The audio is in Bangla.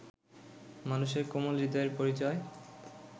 মানুষের কোমল হৃদয়ের পরিচয়